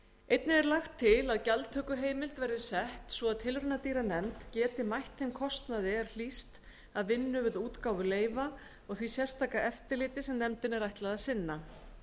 einnig er lagt til að gjaldtökuheimild verði sett svo tilraunadýranefnd geti mætt þeim kostnaði er hlýst af vinnu við útgáfu leyfa og því sérstaka eftirliti sem nefndinni er ætlað að sinna